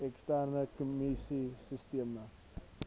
eksterne kommunikasie sisteme